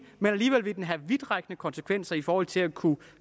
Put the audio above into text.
men alligevel vil den have vidtrækkende konsekvenser i forhold til at kunne